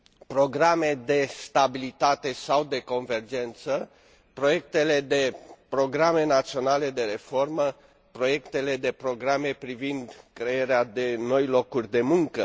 programe de stabilitate sau de convergență, proiectele de programe naționale de reformă, proiectele de programe privind crearea de noi locuri de muncă.